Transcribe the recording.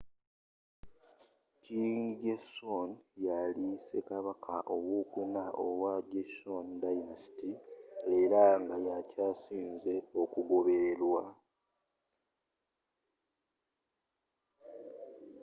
king sejong yali ssekabaka ow'okuna owa joseon dynasty era nga yakyasinze okugoberere lwa